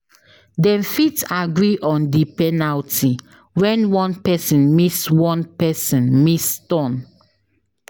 Dem fit agree on di penalty when one person miss one person miss turn